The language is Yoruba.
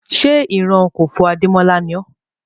Ṣé ìran Kòfó Adémọ́lá ni ọ́?